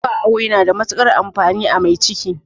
Zuwa awo yana da matuƙar amfani a mai ciki